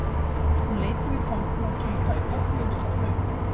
Hún leit yfir kompuna og kinkaði kolli og stóð upp